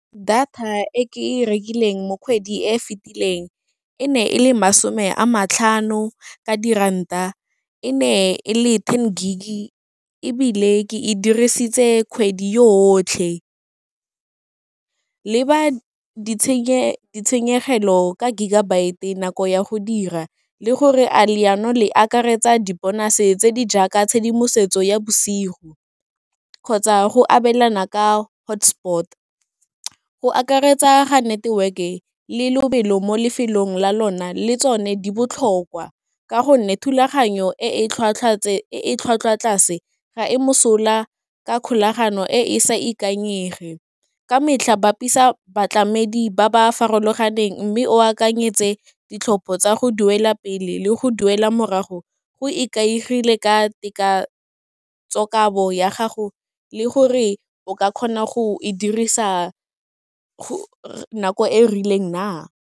Data e ke e rekileng mo kgwedi e e fetileng, e ne e le masome a matlhano ka diranta, e ne e le ten gig, ebile ke e dirisitse kgwedi yo yotlhe. Le ba ditshenyegelo ka gigabyte nako ya go dira, le gore a leano le akaretsa di-bonus tse di jaaka tshedimosetso ya bosigo, kgotsa go abelana ka hotspot, go akaretsa ga network-e le lobelo mo lefelong la lona, le tsone di botlhokwa, ka gonne thulaganyo e e tlhwatlhwa tlase ga e mosola ka kgolagano e e sa ikanyege, ka metlha bapisa batlamedi ba ba farologaneng mme o akanyetse ditlhopho tsa go duela pele, le go duela morago, go ikaegile ka tekatso kabo ya gago le gore o ka kgona go e dirisa nako e rileng na.